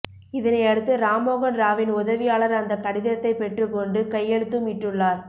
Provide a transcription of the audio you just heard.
இதனையடுத்து ராம் மோகன் ராவின் உதவியாளர் அந்த கடிதத்தை பெற்று கொண்டு கையெழுத்தும் இட்டுள்ளார்